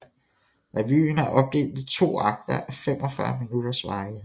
Revyen er opdelt i to akter af 45 minutters varighed